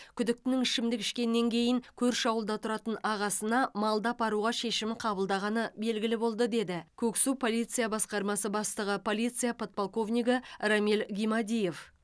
күдіктінің ішімдік ішкеннен кейін көрші ауылда тұратын ағасына малды апаруға шешім қабылдағаны белгілі болды деді көксу полиция басқармасы бастығы полиция подполковнигі рамиль гимадиев